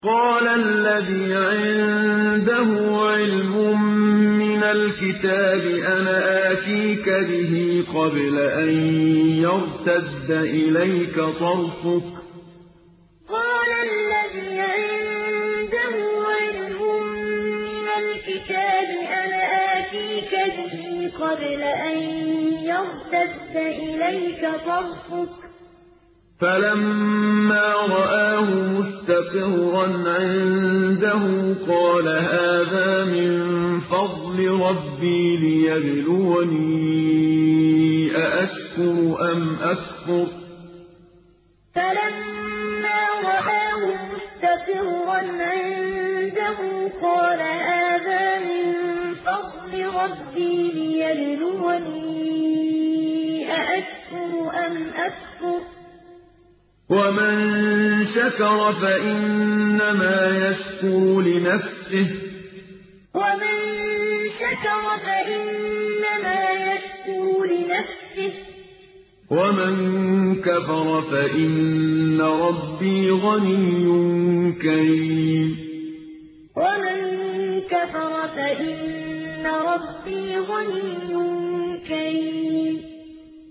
قَالَ الَّذِي عِندَهُ عِلْمٌ مِّنَ الْكِتَابِ أَنَا آتِيكَ بِهِ قَبْلَ أَن يَرْتَدَّ إِلَيْكَ طَرْفُكَ ۚ فَلَمَّا رَآهُ مُسْتَقِرًّا عِندَهُ قَالَ هَٰذَا مِن فَضْلِ رَبِّي لِيَبْلُوَنِي أَأَشْكُرُ أَمْ أَكْفُرُ ۖ وَمَن شَكَرَ فَإِنَّمَا يَشْكُرُ لِنَفْسِهِ ۖ وَمَن كَفَرَ فَإِنَّ رَبِّي غَنِيٌّ كَرِيمٌ قَالَ الَّذِي عِندَهُ عِلْمٌ مِّنَ الْكِتَابِ أَنَا آتِيكَ بِهِ قَبْلَ أَن يَرْتَدَّ إِلَيْكَ طَرْفُكَ ۚ فَلَمَّا رَآهُ مُسْتَقِرًّا عِندَهُ قَالَ هَٰذَا مِن فَضْلِ رَبِّي لِيَبْلُوَنِي أَأَشْكُرُ أَمْ أَكْفُرُ ۖ وَمَن شَكَرَ فَإِنَّمَا يَشْكُرُ لِنَفْسِهِ ۖ وَمَن كَفَرَ فَإِنَّ رَبِّي غَنِيٌّ كَرِيمٌ